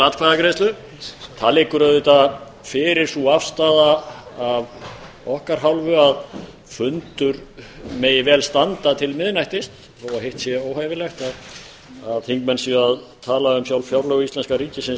atkvæðagreiðslu sú afstaða liggur auðvitað fyrir af okkar hálfu að fundur megi vel standa til miðnættis þó að hitt sé óhæfilegt að þingmenn séu að tala um sjálf fjárlög íslenska ríkisins